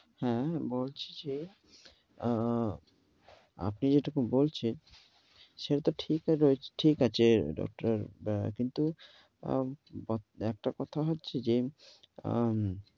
হ্যাঁ বলছি যে, অ্যা আপনি যেটুকু বলছেন সেই তো ঠিক রয়েছে~ ঠিক আছে doctor । কিন্তু একটা কথা হচ্ছে যে, অ্যা